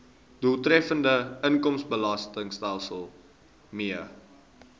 doeltreffende inkomstebelastingstelsel mee